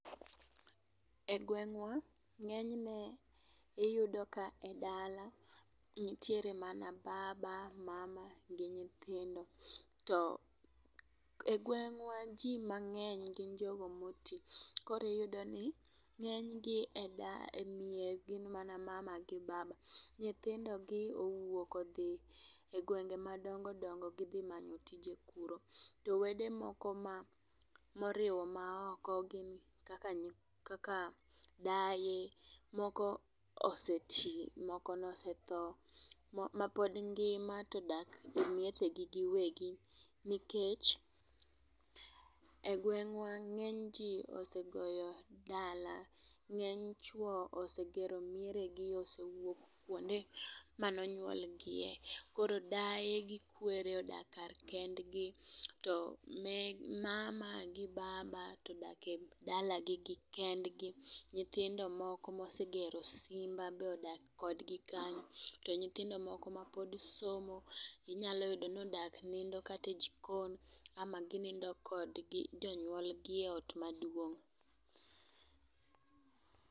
E gweng'wa ng'enyne iyudo ka e dala ntiere mana baba, mama gi nyithindo. To e gweng'wa jii mang'eny gin jogo motii , kori yudo ni ng'eny gi e da e mie gin mana baba gi mama . Nyithindo gi owuok odhi e gwenge madongodongo gidhi manyo tije kuro. To wede moko ma moriwo maoko gin kaka nyi kaka daye moko osetii, moko nosetho. Ma pod ngima todak e mieche gi giwegi nikech e gweng'wa ng'eny jii osegoyo dala. Ng'eny chwo osegero mieye gii ,osewuok kuonde mane onyuol gie. Koro daye gi kwere odak kar kendgi to me mama gi baba todak e dalagi gi kendgi. Nyithindo moko mosegero simba bodak kodgi kanyo, to nyithindo moko mapod somo inyalo yudo ni odak nindo kata e jikon ama ginindo kod jonyuol gi e ot maduong'.